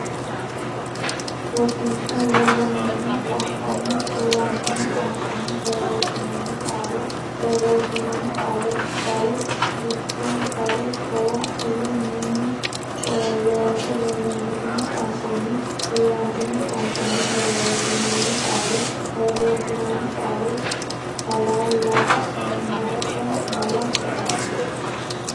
Rosiishsha Lollongitino qooqonnni Duu rantino qoonqonni borreessinoonni qaale borreessinoonni qaale bale busha bare gowa ile Mini Looso Lollongitino qooqonnni Duu rantino qoonqonni borreessinoonni qaale borreessinoonni qaale kala laga masa mala tuqa.